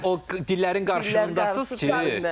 O qədər dillərin qarşılığındasız ki.